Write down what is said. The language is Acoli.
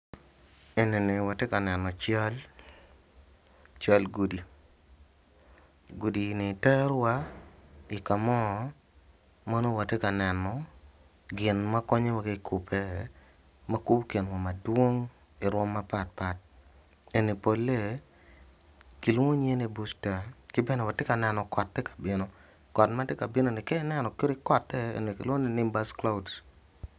Enini watye ka neno cal, cal gudi, gudi ni tero wa i kamo ma nongo watye ka neno gin ma konyowa kakube makubo kinwa madwong marom mapatpat eni pole kilwongo nyinge ni busta kibene watye ka neno kot tye kabino kot matye ka binoni ka ineno kadi kote kilwongogi ni nimbus clouds.